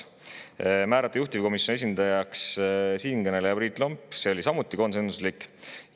määrata juhtivkomisjoni esindajaks siinkõneleja, see oli samuti konsensuslik.